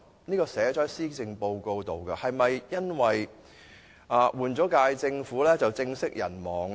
這個目標已記入施政報告中，是否因為政府換屆便政息人亡呢？